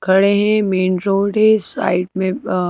खड़े हैं main road है साइड में अ--।